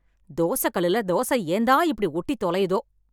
தோச கல்லுல தோச ஏன்தான் இப்படி ஒட்டி தொலையுதோ?